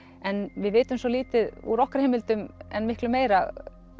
en við vitum svo lítið úr okkar heimildum en miklu meira